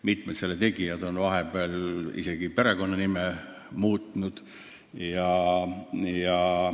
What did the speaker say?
Mitmed selle tegijad on vahepeal isegi perekonnanime muutnud.